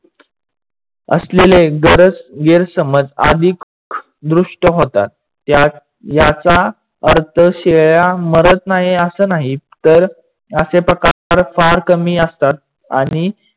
असलेले गैरसमज आधिक दृष्ट होतात. याचा अर्थ शेळ्या मरत नाही असे नाही, तर असे प्रकार फार कमी असतात आणि